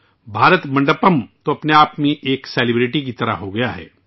بھارت منڈپم اپنے آپ میں ایک مشہور شخصیت کی طرح بن گیا ہے